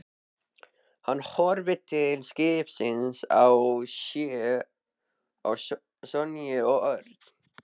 Hann horfði til skiptis á Sonju og Örn.